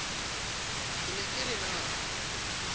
ke ne ke re na